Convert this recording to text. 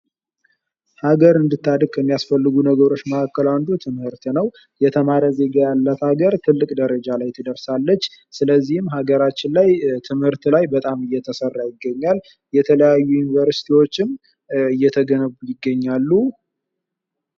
ሀገር እንድታድግ ከሚያስፈልጉ ነገሮች መካከል አንዱ ትምህርት ነው። እየተማረ ዜጋ ያላት ሀገር ትልቅ ደረጃ ላይ ትደርሳለች ።ስለዚህም ሀገራችን ላይ ትምህርት ላይ በጣም እየተሰራ ይገኛል የተለያዩ ዩኒቨርስቲዎችም እየተገነቡ ይገኛሉ።